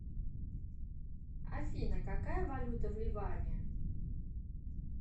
афина какая валюта в ливане